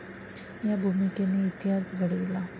या भूमिकेने इतिहास घडविला.